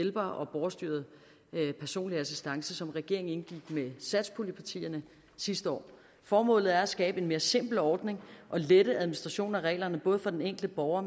af hjælpere og borgerstyret personlig assistance som regeringen indgik aftale med satspuljepartierne sidste år formålet er at skabe en mere simpel ordning og lette administrationen af reglerne både for den enkelte borger